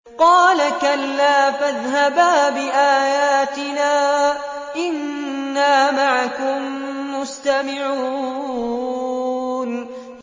قَالَ كَلَّا ۖ فَاذْهَبَا بِآيَاتِنَا ۖ إِنَّا مَعَكُم مُّسْتَمِعُونَ